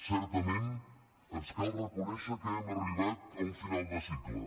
certament ens cal reconèixer que hem arribat a un final de cicle